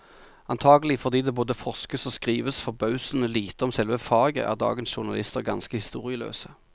Antagelig fordi det både forskes og skrives forbausende lite om selve faget, er dagens journalister ganske historieløse.